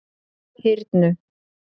Hyrnu